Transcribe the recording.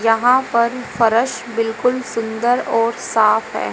यहां पर फ़रस बिल्कुल सुंदर और साफ है।